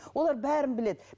олар бәрін біледі